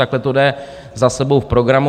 Takhle to jde za sebou v programu.